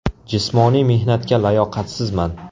Jismoniy mehnatga layoqatsizman.